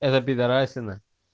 эта пидорасина